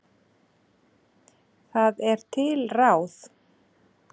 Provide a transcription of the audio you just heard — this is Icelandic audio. Það er til ráð.